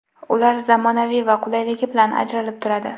Ular zamonaviy va qulayligi bilan ajralib turadi.